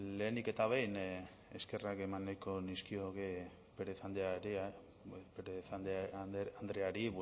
lehenik eta behin eskerrak eman nahiko nizkioke pérez andreari